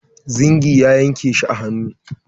Zingi ya yanke shi a hannu.